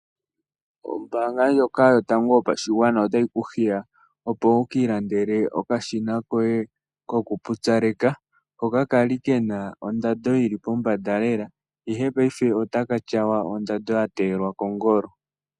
Ombaanga ndjoka yotango yopashigwana otayi ku hiya opo wu ki ilandele okashina koye kokupupyaleka hoka kali ke na ondando yi li pombanda lela ihe payife otaka tyawa, ondando ya teyelwa kongolo.